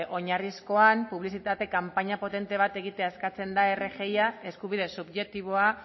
oinarrizkoan publizitate kanpaina potente bat egitea eskatzen da rgi eskubide subjektiboa